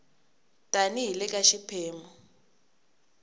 tani hi le ka xiphemu